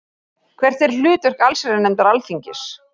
Hvert er hlutverk allsherjarnefndar Alþingis?